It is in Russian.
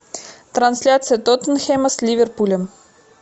трансляция тоттенхэма с ливерпулем